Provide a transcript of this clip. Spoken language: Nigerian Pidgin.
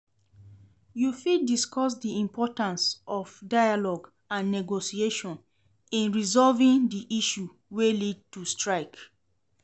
You fit discuss di importance of dialogue and negotiation in resolving di issues wey led to strike.